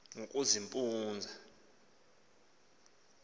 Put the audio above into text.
xa limkayo avuma